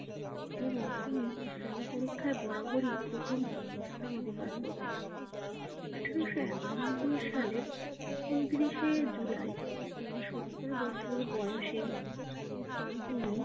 এবং তিনি পরীক্ষায় বরাবরই প্রথম স্থান অধিকার করতেন। আঠারোশ একানব্বই সালের ঊনত্রিশে জুলাই সত্তর বছর বয়সে তিনি